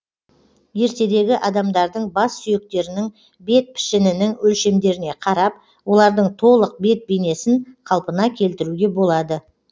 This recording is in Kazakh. ертедегі адамдардың бас сүйектерінің бет пішінінің өлшемдеріне қарап олардың толық бет бейнесін қалпына келтіруге болады